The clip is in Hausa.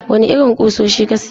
Wane irin kusoshi ka siya?